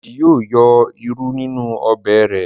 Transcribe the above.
Deji yíò yọ ìrù ninu Ọbẹ̀ re.